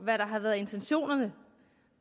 hvad der har været intentionerne